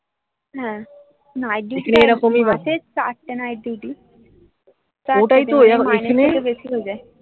হ্যাঁ night duty মাসে চারটে night duty ওই জন্যই তো মাইনে বেশি ঢকে